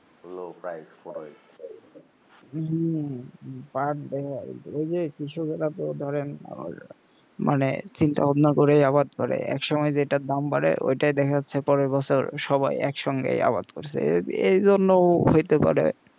হম পাঁট দেখে ওই যে কৃষকেরা ধরেন মানে চিন্তা ভাবনা করে আবার একসময় যেটার দাম বাড়ে ওইটাই দেখা যাচ্ছে পরের বছর সবাই এক সঙ্গেই আবাদ করছে এই জন্য হইতে পারে